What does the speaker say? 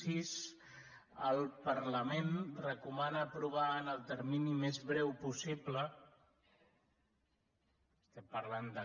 sis el parlament recomana aprovar en el termini més breu possible estem parlant de